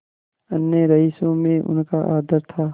अन्य रईसों में उनका आदर था